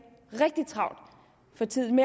rigtig travlt for tiden